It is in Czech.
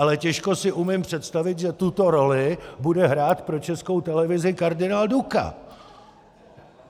Ale těžko si umím představit, že tuto roli bude hrát pro Českou televizi kardinál Duka!